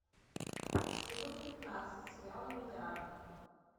сезон пятнадцать сериала миллиарды